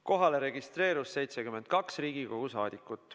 Kohale registreerus 72 Riigikogu saadikut.